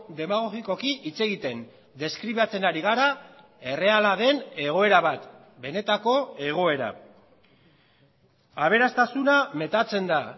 demagogikoki hitz egiten deskribatzen ari gara erreala den egoera bat benetako egoera aberastasuna metatzen da